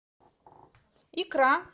икра